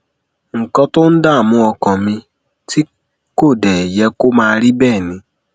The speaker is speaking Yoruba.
nǹkan tó ń dààmú ọkàn mi tí kò dé yẹ kó máa rí bẹẹ ni